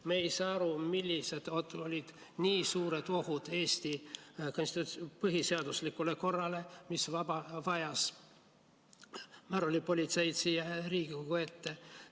Me ei saa aru, millised on nii suured ohud Eesti põhiseaduslikule korrale, mis vajasid märulipolitseid siia Riigikogu ette.